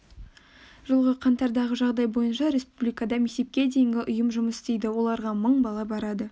жылғы қаңтардағы жағдай бойынша республикада мектепке дейінгі ұйым жұмыс істейді оларға мың бала барады